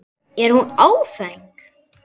Er hún áfeng?